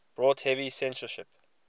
brought heavy censorship